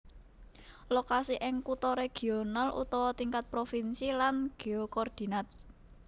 Lokasi ing kutha regional utawa tingkat provinsi lan geokordinat